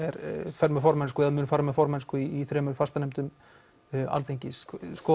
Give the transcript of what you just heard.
fer með formennsku eða mun fara með formennsku í þremur fastanefndum Alþingis